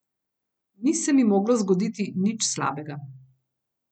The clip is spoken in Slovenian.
Ni se mi moglo zgoditi nič slabega.